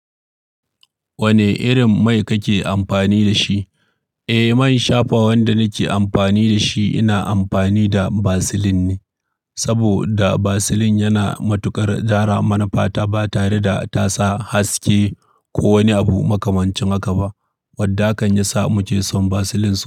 Wane irin mai kake amfani da shi? Eh, man shafawan da nake amfani da shi ina amfani da Vaseline ne. M saboda Vaseline yana matuƙar gyara mana fata ba tare da ta sa haske ko wani abu makamancin haka ba. Wadda hakan ya sa muke son Vaseline sosai.